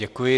Děkuji.